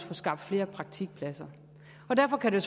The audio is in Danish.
få skabt flere praktikpladser derfor kan det